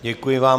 Děkuji vám.